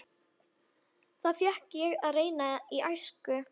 Það fékk ég að reyna í æsku.